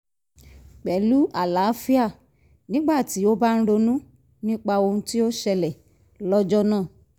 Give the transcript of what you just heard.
pẹ̀lú alaafia nígbà tí ó bá ń ronú nípa ohun tí ó ṣẹlẹ̀ lọ́jọ́ náà